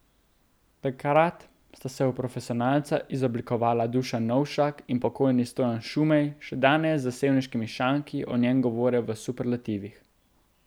Takrat sta se v profesionalca izoblikovala Dušan Novšak in pokojni Stojan Šumej, še danes za sevniškimi šanki o njem govore v superlativih.